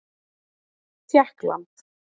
Tékkland